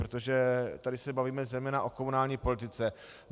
Protože tady se bavíme zejména o komunální politice.